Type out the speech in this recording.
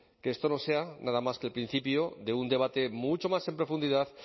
que esto no sea nada más que el principio de un debate mucho más en profundidad